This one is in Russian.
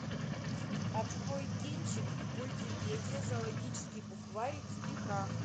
открой кинчик мультипедия зоологический букварь в стихах